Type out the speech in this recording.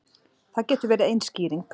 Það getur verið ein skýring.